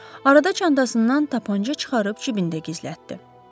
Arada çantasından tapança çıxarıb cibində gizlətdi.